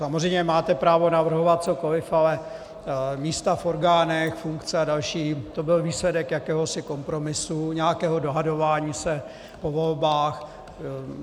Samozřejmě máte právo navrhovat cokoli, ale místa v orgánech, funkce a další, to byl výsledek jakéhosi kompromisu, nějakého dohadování se po volbách.